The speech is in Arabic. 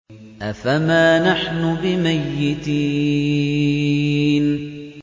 أَفَمَا نَحْنُ بِمَيِّتِينَ